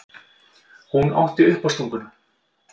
Hún átti uppástunguna.